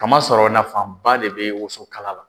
Kama sɔrɔ nafaba de bɛ wosokala la